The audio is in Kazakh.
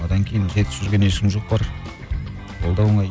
одан кейін жетісіп жүрген ешкім жоқ бар ол да оңай